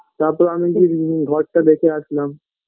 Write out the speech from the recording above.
তারপর আমি গিয়ে নি ঘরটা দেখে আসলাম